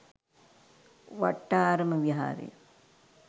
Wattarama Viharaya